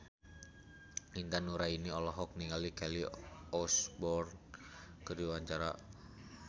Intan Nuraini olohok ningali Kelly Osbourne keur diwawancara